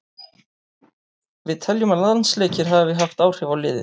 Við teljum að landsleikir hafi haft áhrif á liðið.